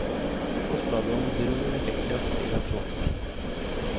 Forslaget om bro vekker kraftige reaksjoner.